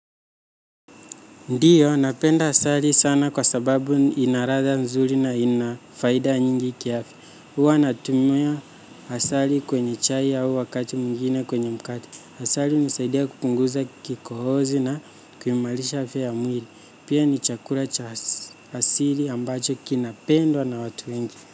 Ndiyo, napenda asali sana kwa sababu inaradha mzuri na ina faida nyingi kiafya. Uwa natumia asali kwenye chai au wakati mwingine kwenye mkate. Asali hunisaidia kupunguza kikohozi na kuimalisha afya ya mwili. Pia ni chakula cha hasiri ambacho kinapendwa na watu wengi.